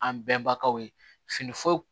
An bɛnbakɛw ye fini foyi